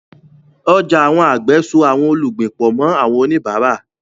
Ọjà àwọn àgbẹ̀ so àwọn olùgbìn pọ̀ mọ́ àwọn oníbàárà.